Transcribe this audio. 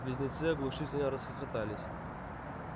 близнецы оглушительно расхохотались